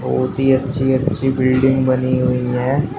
बहोत ही अच्छी अच्छी बिल्डिंग बनी हुई है।